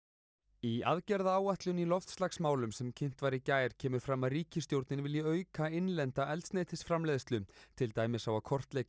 í aðgerðaáætlun í loftslagsmálum sem kynnt var í gær kemur fram að ríkisstjórnin vilji auka innlenda eldsneytisframleiðslu til dæmis á að kortleggja